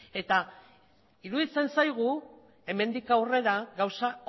iruditzen zaigu hemendik aurrera gauza